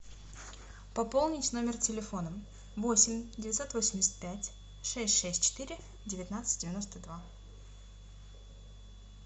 пополнить номер телефона восемь девятьсот восемьдесят пять шесть шесть четыре девятнадцать девяносто два